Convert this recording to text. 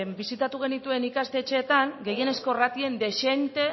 bisitatu genituen ikastetxeetan gehienezko ratioen dezente